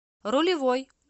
рулевой